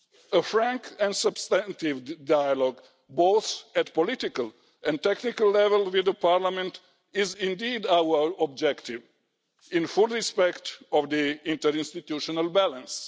A frank and substantive dialogue both at political and technical level with Parliament is indeed our objective in full respect of the interinstitutional balance.